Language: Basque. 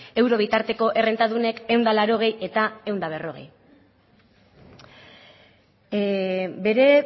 euro bitarteko errentadunek ehun eta laurogei eta ehun eta berrogei bere